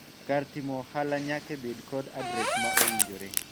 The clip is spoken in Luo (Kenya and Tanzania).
kar timo ohala nyake bed kod adres ma owinjore